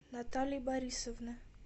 натальи борисовны